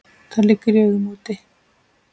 Það liggur í augum úti.